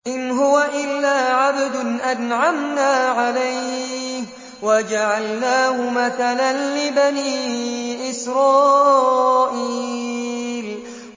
إِنْ هُوَ إِلَّا عَبْدٌ أَنْعَمْنَا عَلَيْهِ وَجَعَلْنَاهُ مَثَلًا لِّبَنِي إِسْرَائِيلَ